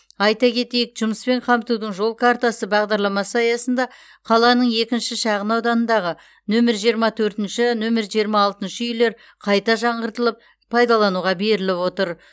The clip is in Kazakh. айта кетейік жұмыспен қамтудың жол картасы бағдарламасы аясында қаланың екінші шағын ауданындағы нөмір жиырма төртінші нөмір жиырма алтыншы үйлер қайта жаңғыртылып пайдалануға беріліп отыр